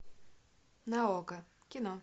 на окко кино